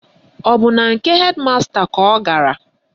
Ọ bụ na nke hedị masta ka ọ gara?